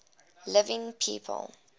living people